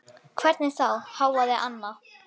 Hvernig þá, hváði Anna.